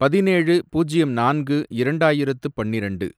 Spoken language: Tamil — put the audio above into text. பதினேழு, பூஜ்யம் நான்கு, இரண்டாயிரத்து பன்னிரெண்டு